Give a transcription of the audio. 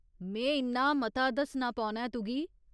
में इन्ना मता दस्सना पौना ऐ तुगी।